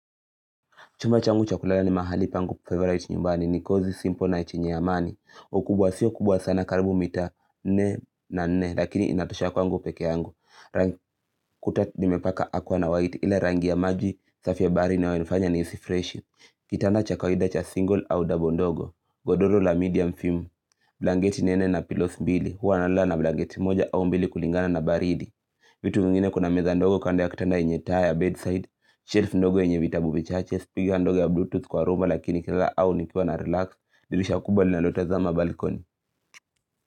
Chumba changu chakulala ni mahali pangu favorite nyumbani ni kozi simple na ichinye ya mani. Ukubwa siyo kubwa sana karibu mita nne na nne lakini inatoshea kwangu peke yangu. Kuta nimepaka aqua na white ila rangi ya maji safi ya bahari inayo nifanya niisi fresh. Kitanda cha kawida cha single au double ndogo. Godolo la medium film. Blanketi nene na pilos mbili. Huwa nalala na blanketi moja au mbili kulingana na baridi. Vitu mingine kuna meza ndogo kanda ya kitanda yenye taa ya bedside, shelf ndogo yenye vitabu bichache. Speaker ndogo ya bluetooth kwa rumba lakini kilala au nikiwa na relax dirisha kubwa lina lo tazama balikoni.